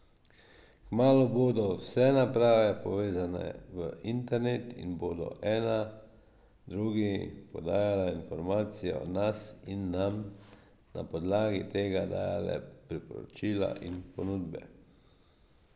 Kmalu bodo vse naprave povezane v internet in bodo ena drugi podajale informacije o nas in nam na podlagi tega dajale priporočila in ponudbe.